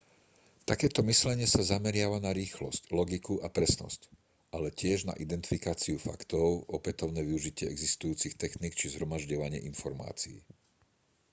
takéto myslenie sa zameriava na rýchlosť logiku a presnosť ale tiež na identifikáciu faktov opätovné využitie existujúcich techník či zhromažďovanie informácií